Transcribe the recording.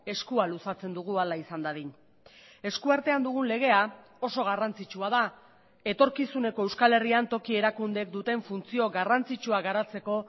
eskua luzatzen dugu hala izan dadin esku artean dugun legea oso garrantzitsua da etorkizuneko euskal herrian toki erakundeek duten funtzio garrantzitsua garatzeko